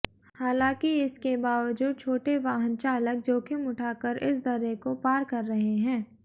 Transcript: हालांकि इसके बावजूद छोटे वाहन चालक जोखिम उठाकर इस दर्रे को पार कर रहे हैं